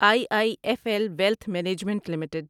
I I F L wealth management limited